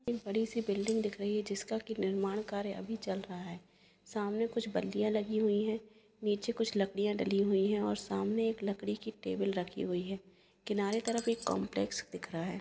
एक बड़ी सी बिल्डिंग दिख रहा है जिसका की निर्माण कार्य अभी चल रहा है सामने कुछ बल्लियां लगी हुई है नीचे कुछ लकड़ियां डली हुई है और सामने एक लकड़ी की टेबल रखी हुई है किनारे तरफ एक काम्प्लेक्स दिख रहा है।